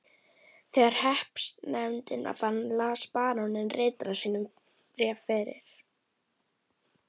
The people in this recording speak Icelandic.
Þegar hreppsnefndin var farin las baróninn ritara sínum bréf fyrir.